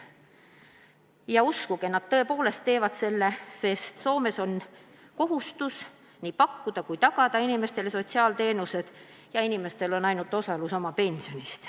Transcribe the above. Ja uskuge, nad tõepoolest saavad, sest Soomes on kohustus pakkuda inimestele sotsiaalteenuseid ja inimeste omaosalus on vaid nende pension.